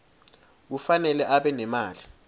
kufanele abe nemali